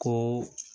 Ko